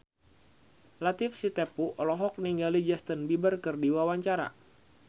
Latief Sitepu olohok ningali Justin Beiber keur diwawancara